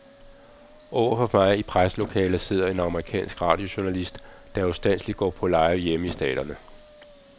Overfor mig i presselokalet sidder en amerikansk radiojournalist, der ustandselig går på live hjemme i staterne.